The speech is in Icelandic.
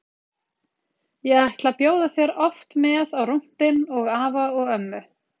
Ég ætla að bjóða þér oft með á rúntinn og afa og ömmu.